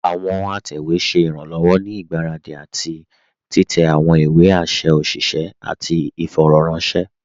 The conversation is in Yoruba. Àwọn àtẹwé ṣẹ̀ iranlọ́wọ̀ ní igbáradi àti titẹ̀ àwọn ìwé àṣẹ̀ òṣìṣẹ̀ àti ìfọ̀rọ̀ranṣẹ̀.